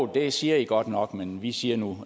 det siger i godt nok men vi siger nu